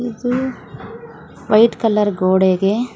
. White ಕಲರ ಗೋಡೆಗೆ--